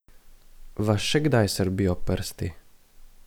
Vas še kdaj srbijo prsti?